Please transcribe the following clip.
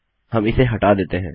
हम इसे हटा देते हैं